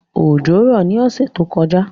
Òjò rọ̀ ní ọ̀sẹ̀ tó kọjá